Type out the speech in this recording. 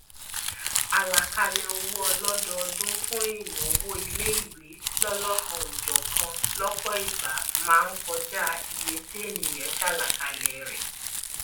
àlàkalẹ owó ọlọdọọdún fún ìnáwó ilé ìwé lọlọkanòjọkan lọpọ ìgbà máa ń ìgbà máa ń kọjá iye ti èèyàn ṣàlàkalẹ rẹ